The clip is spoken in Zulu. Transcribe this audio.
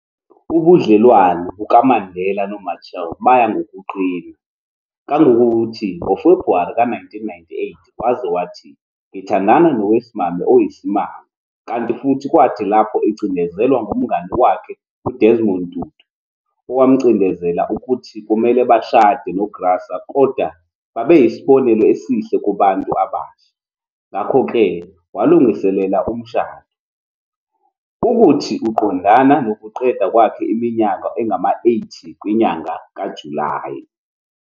Ubudlelwane bukaMandela noMachel baya ngokuqina, kangongokuthi nguFebruwari ka-1998, waze wathi, ngithandana nowesimame oyisimanga, kanti futhi kwathi lapho ecindezelwa ngumngani wakhe uDesmond Tutu, owamcindezela ukuthi kumele bashade noGraca ukuze babeyisibonelo esihle kubantu abasha, ngakho-ke walungiselela umshado, ukuthi uqondana nokuqeda kwakhe iminyaka engama-80 kwinyanga kaJulayi.